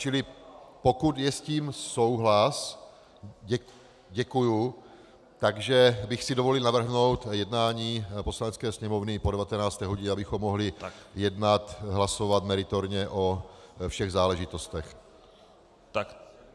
Čili pokud je s tím souhlas, děkuji, tak bych si dovolil navrhnout jednání Poslanecké sněmovny po 19. hodině, abychom mohli jednat, hlasovat meritorně o všech záležitostech.